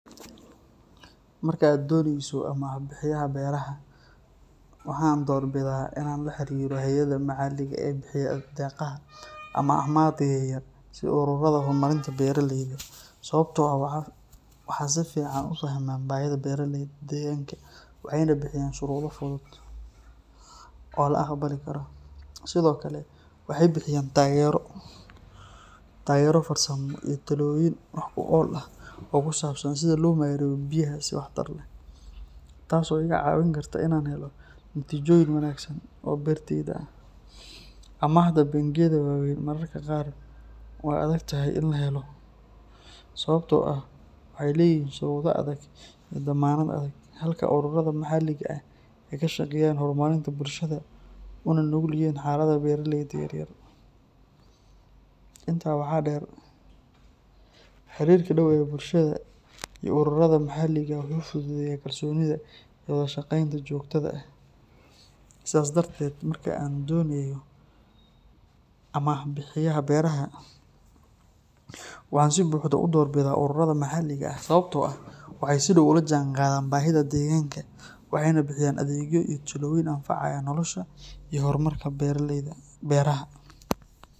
Marka aad dooneyso amaah biyaha beeraha, waxa aan doorbidayaa in aan la xiriiro hay’adaha maxalliga ah ee bixiya deeqaha ama amaahda yaryar sida ururada horumarinta beeralayda, sababtoo ah waxay si fiican u fahmaan baahida beeraleyda deegaanka waxayna bixiyaan shuruudo fudud oo la aqbali karo. Sidoo kale, waxay bixiyaan taageero farsamo iyo talooyin wax ku ool ah oo ku saabsan sida loo maareeyo biyaha si waxtar leh, taas oo iga caawin karta inaan helo natiijooyin wanaagsan oo beertayda ah. Amaahda bangiyada waaweyn mararka qaar waa adag tahay in la helo sababtoo ah waxay leeyihiin shuruudo adag iyo dammaanad adag, halka ururada maxalliga ah ay ka shaqeeyaan horumarinta bulshada una nugul yihiin xaaladaha beeraleyda yaryar. Intaa waxaa dheer, xiriirka dhow ee bulshada iyo ururada maxalliga ah wuxuu fududeeyaa kalsoonida iyo wada shaqeynta joogtada ah. Sidaas darteed, marka aan dooneyo amaah biyaha beeraha, waxaan si buuxda u doorbidayaa ururada maxalliga ah sababtoo ah waxay si dhow ula jaanqaadaan baahida deegaanka, waxayna bixiyaan adeegyo iyo talooyin anfacaya nolosha iyo horumarka beeraha.